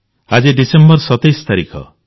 ଆଜି ଡିସେମ୍ବର 27 ତାରିଖ